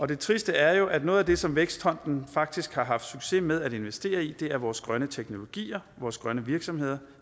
det triste er jo at noget af det som vækstfonden faktisk har haft succes med at investere i er vores grønne teknologier vores grønne virksomheder